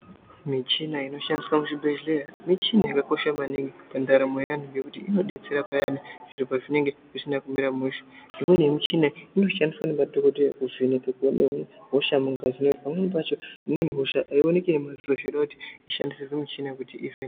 Michina inoshandiswa muzvibhedhlera michina yakakosha maningi mundaramo yeanhu nekuti inodetsera payani zviro pezvinenge zvisina kumira mushe imweni yemichina inoshandiswa nemadhokodheya kuvheneke kuona hosha mungazi ngekuti pamweni pacho imweni hosha aioneki ngemadziso zveidoti ishandisirwe michina kuti ivhenekwe